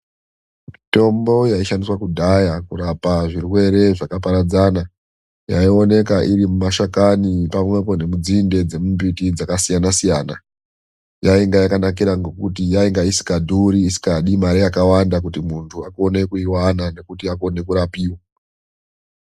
Mitombo yaishandiswa kudhaya kurapa zvirwere zvakaparadzana, yaioneka iri mumashakani pamwepo nemidzinde yembiti dzakasiyana siyana. Yainge yakanakira ngekuti yainge isikadhuri, isikadi mari yakawanda kuti muntu akone kuiwana nekuti akone kurapiva.